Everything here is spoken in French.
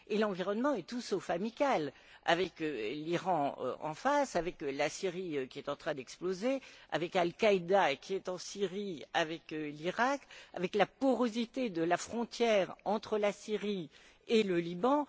Et l'environnement est tout sauf amical, avec l'Iran en face, avec la Syrie qui en train d'exploser, avec Al Qaïda qui est en Syrie, avec l'Iraq, avec la porosité de la frontière entre la Syrie et le Liban.